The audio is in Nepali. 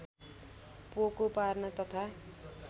पोको पार्न तथा